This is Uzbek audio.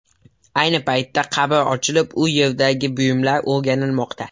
Ayni paytda qabr ochilib, u yerdagi buyumlar o‘rganilmoqda.